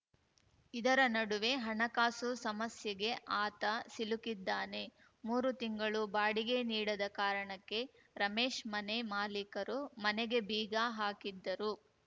ಇದರ ನಡುವೆ ಹಣಕಾಸು ಸಮಸ್ಯೆಗೆ ಆತ ಸಿಲುಕಿದ್ದಾನೆ ಮೂರು ತಿಂಗಳು ಬಾಡಿಗೆ ನೀಡದ ಕಾರಣಕ್ಕೆ ರಮೇಶ್‌ ಮನೆ ಮಾಲೀಕರು ಮನೆಗೆ ಬೀಗ ಹಾಕಿದ್ದರು